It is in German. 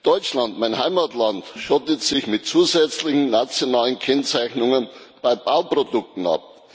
Deutschland mein Heimatland schottet sich mit zusätzlichen nationalen Kennzeichnungen bei Bauprodukten ab.